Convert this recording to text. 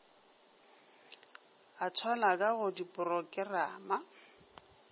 a thwalo ka go diporokerama